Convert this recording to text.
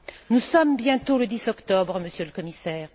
Nous sommes bientôt le 10 octobre, Monsieur le Commissaire.